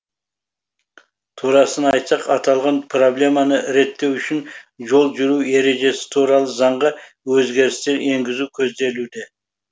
турасын айтсақ аталған проблеманы реттеу үшін жол жүру ережесі туралы заңға өзгерістер енгізу көзделуде